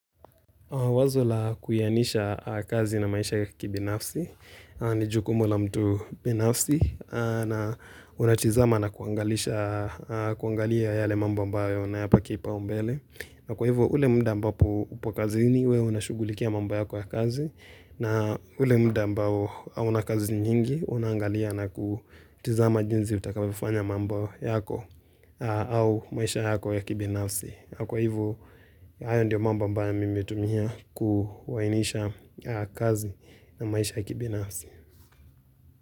Wazo la kuyanisha kazi na maisha kibinafsi, ni jukumu la mtu binafsi, na unatizama na kuangalia yale mambo ambayo unayapa kipaumbele na kwa hivo, ule mda ambapo upo kazini we unashugulikia mambo yako ya kazi, na ule mda ambao hauna kazi nyingi, unaangalia na kutizama jinzi utakavyofanya mambo yako au maisha yako ya kibinafsi. Kwa hivo, hayo ndio mambo ambayo mimi hutumia kuainisha kazi na maisha kibinasi.